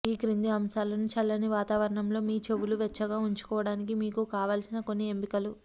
ఈ క్రింది అంశాలను చల్లని వాతావరణంలో మీ చెవులు వెచ్చగా ఉంచుకోవడానికి మీకు కావలసిన కొన్ని ఎంపికలు